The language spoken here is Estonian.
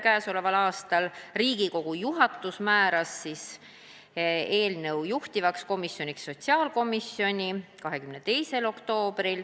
22. oktoobril määras Riigikogu juhatus eelnõu juhtivaks komisjoniks sotsiaalkomisjoni.